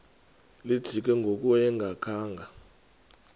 lijikile ngoku engakhanga